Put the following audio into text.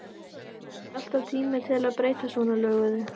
Er ekki alltaf tími til að breyta svona löguðu?